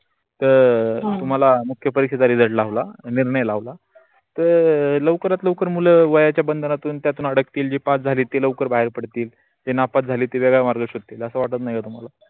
तर तुम्हाला मुख्य परीक्षेचा result लावला अगर नाही लावला तर लवकरात लवर मुल वयाच्या बंधनातून त्यातून अड्गतील जे पास झाली ती लवकर बाहेर पडतील. जे नापास झाली ते वेगळा मार्ग शोधतील अस वाटत नाही का तुम्हाला.